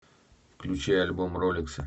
включи альбом ролексы